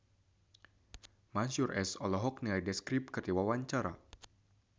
Mansyur S olohok ningali The Script keur diwawancara